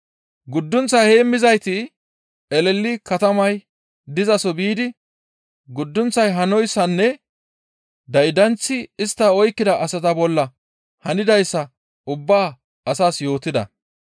Guddunththaa heemmizayti elelidi katamay dizaso biidi guddunthay hanoyssanne daydanththi istta oykkida asata bolla hanidayssa ubbaa asaas yootida.